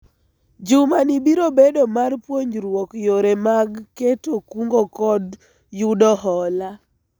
juma ni biro bedo mar puonjruok yore mag keto kungo kod yudo hola